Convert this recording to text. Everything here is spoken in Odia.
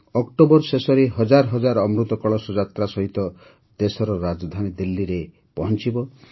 ଅକ୍ଟୋବର ଶେଷରେ ହଜାରହଜାର ଅମୃତ କଳସ ଯାତ୍ରା ସହିତ ଦେଶର ରାଜଧାନୀ ଦିଲ୍ଲୀରେ ପହଞ୍ଚିବ